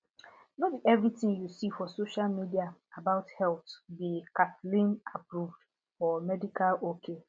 no be everything you see for social media about health be kathleenapproved or medical ok